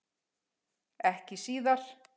Ekki síðar.